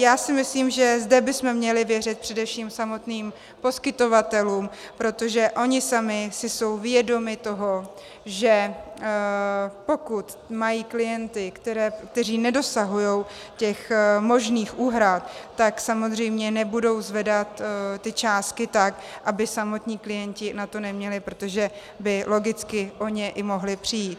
Já si myslím, že zde bychom měli věřit především samotným poskytovatelům, protože oni sami si jsou vědomi toho, že pokud mají klienty, kteří nedosahují těch možných úhrad, tak samozřejmě nebudou zvedat ty částky tak, aby samotní klienti na to neměli, protože by logicky o ně i mohli přijít.